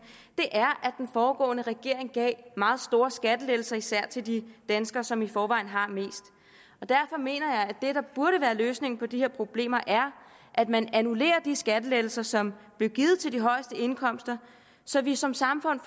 er at den foregående regering gav meget store skattelettelser især til de danskere som i forvejen har mest derfor mener jeg at det der burde være løsningen på de her problemer er at man annullerer de skattelettelser som blev givet til de højeste indkomster så vi som samfund